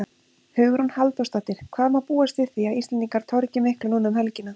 Hugrún Halldórsdóttir: Hvað má búast við því að Íslendingar torgi miklu núna um helgina?